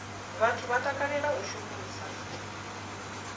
vhathu vha takalela u shumisa